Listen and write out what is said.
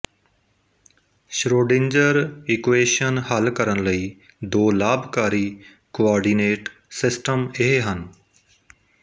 Schrödinger equation ਹੱਲ ਕਰਨ ਲਈ ਦੋ ਲਾਭਕਾਰੀ ਕੋਆਰਡੀਨੇਟ ਸਿਸਟਮ ਇਹ ਹਨ